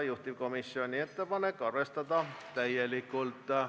Juhtivkomisjoni ettepanek: arvestada täielikult.